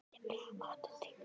Tíbrá, áttu tyggjó?